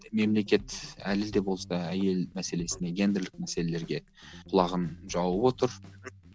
мемлекет әлі де болса әйел мәселесіне гендірлік мәселелерге құлағын жауып отыр